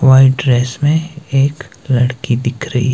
white dress में एक लड़की दिख रही--